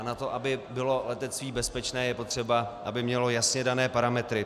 A na to, aby bylo letectví bezpečné, je potřeba, aby mělo jasně dané parametry.